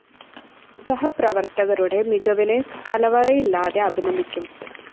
സഹപ്രവര്‍ത്തകരുടെ മികവിനെ കലവറയില്ലാതെ അഭിനന്ദിക്കും